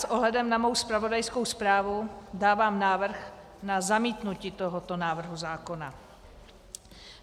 S ohledem na svou zpravodajskou zprávu dávám návrh na zamítnutí tohoto návrhu zákona.